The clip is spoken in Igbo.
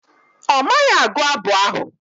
Ọ maghị agụ abụ ahụ.